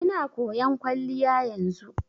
Ina koyan kwalliya yanzu.